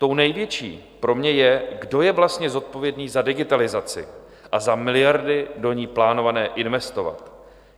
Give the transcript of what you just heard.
Tou největší pro mě je, kdo je vlastně zodpovědný za digitalizaci a za miliardy do ní plánované investovat.